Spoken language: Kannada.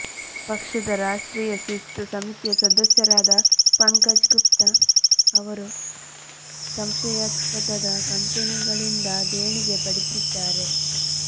ಪಕ್ಷದ ರಾಷ್ಟ್ರೀಯ ಶಿಸ್ತು ಸಮಿತಿಯ ಸದಸ್ಯರಾದ ಪಂಕಜ್ ಗುಪ್ತಾ ಅವರು ಸಂಶಯಾಸ್ಪದ ಕಂಪೆನಿಗಳಿಂದ ದೇಣಿಗೆ ಪಡೆದಿದ್ದಾರೆ